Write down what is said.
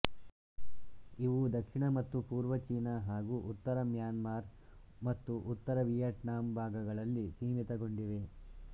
ಇವು ದಕ್ಷಿಣ ಮತ್ತು ಪೂರ್ವ ಚೀನಾ ಹಾಗೂ ಉತ್ತರ ಮ್ಯಾನ್ಮಾರ್ ಮತ್ತು ಉತ್ತರ ವಿಯೆಟ್ನಾಂ ಭಾಗಗಳಲ್ಲಿ ಸೀಮಿತಗೊಂಡಿವೆ